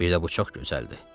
Bir də bu çox gözəldir.